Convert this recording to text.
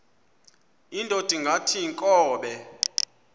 indod ingaty iinkobe